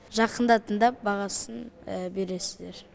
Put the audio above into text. жақында тыңдап бағасын бересіздер